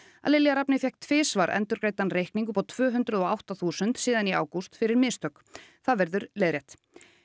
að Lilja Rafney fékk tvisvar endurgreiddan reikning upp á tvö hundruð og átta þúsund síðan í ágúst fyrir mistök það verður leiðrétt